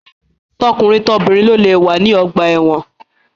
Tọkunrin tobìnrin lo lé wà ní ọgbà ẹ̀wọ́n.